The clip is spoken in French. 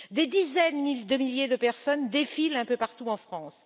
Des dizaines de milliers de personnes défilent un peu partout en France